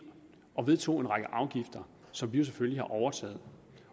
og vedtog en række afgifter som vi jo selvfølgelig har overtaget